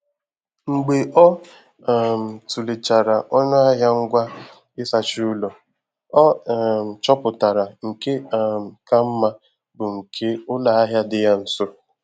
Mgbe ọ um tulechara ọnụ ahịa ngwa ịsacha ụlọ, ọ um chọpụtara nke um ka mma bụ nke ụlọ ahịa dị ya nso.